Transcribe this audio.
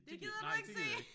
Det gider du ikke se!